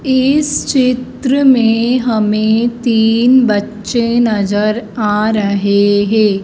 इस चित्र में हमें तीन बच्चे नजर आ रहें हैं।